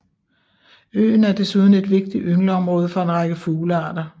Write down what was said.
Øen er desuden et vigtigt yngleområde for en række fuglearter